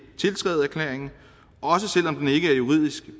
tiltræde erklæringen også selv om den ikke er juridisk